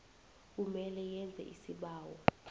kumele yenze isibawo